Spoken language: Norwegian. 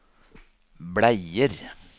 bleier